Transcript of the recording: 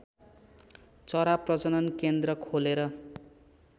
चरा प्रजनन केन्द्र खोलेर